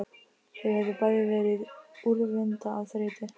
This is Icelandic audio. Þau höfðu bæði verið úrvinda af þreytu.